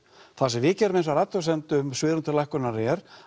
það sem við gerðum hins vegar athugasemd um svigrúm til lækkunar er